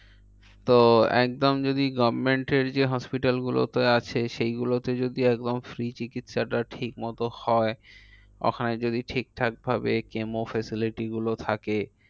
তো একদম যদি government এর যে hospital গুলো তে আছে, সেইগুলো তে যদি একদম free চিকিৎসা টা ঠিকমতো হয়। ওখানে যদি ঠিকঠাক ভাবে chemo facility গুলো থাকে,